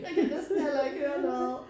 Jeg kan næsten heller ikke høre noget